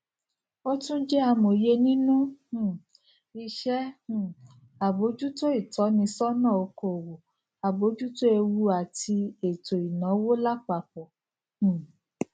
o tún jẹ amòye nínú um iṣẹ um àbójútó ìtọnisọnà okòwò abojuto ewuàti ètò ìnáwó lápapọ um